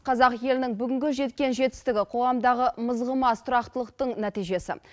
қазақ елінің бүгінгі жеткен жетістігі қоғамдағы мызғымас тұрақтылықтың нәтижесі